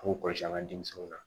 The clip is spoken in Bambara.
K'u kɔlɔsi an ka denmisɛnninw na